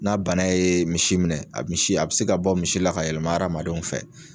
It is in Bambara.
N'a bana ye misi minɛ, a misi a bi se ka bɔ misi la, ka yɛlɛma adamadenw fɛ.